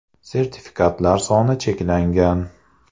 Sertifikatlar soni cheklangan.